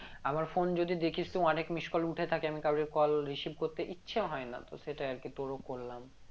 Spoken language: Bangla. আমার phone যদি দেখিস তো অনেক missed call উঠে থাকে আমি কারোরই call receive করতে ইচ্ছে হয় না তো সেটাই আর কি তোরা করলাম